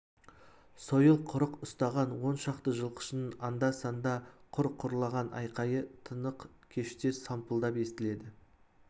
сойыл құрық ұстаған он шақты жылқышының анда-санда құр-құрлаған айқайы тынық кеште сампылдап естіледі